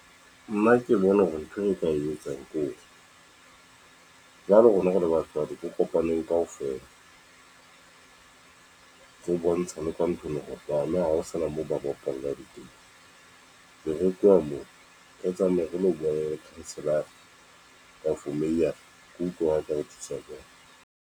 Nna ke bona hore ntho e nka e etsang kore jwale rona re le batswadi re kopaneng kaofela. Re bontshane ka ntho ena hore bana ha ho sana moo ba bapallang teng. Be re tloha moo re tsamaye re lo buwa le councillor-a mayor-a re utlwe ngakhothiswa bona.